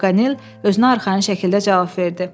Pakanel özünə arxayın şəkildə cavab verdi.